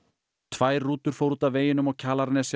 tvær rútur fóru út af veginum á Kjalarnesi